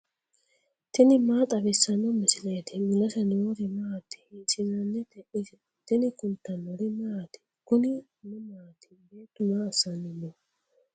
tini maa xawissanno misileeti ? mulese noori maati ? hiissinannite ise ? tini kultannori maati? Kunni mamati? beettu maa asanni noo?